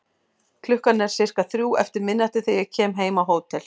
Klukkan er sirka þrjú eftir miðnætti þegar ég kem heim á hótel.